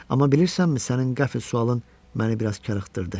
Amma bilirsənmi sənin qəfil sualın məni biraz karıxdırdı.